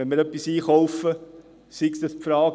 Wenn wir etwas einkaufen, stellt sich die Frage: